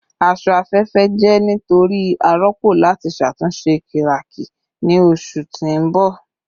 Aṣọ afẹfẹ jẹ nitori aropo lati ṣatunṣe kiraki ni oṣu ti n bọ